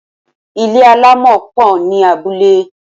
Mud huts are many in villages.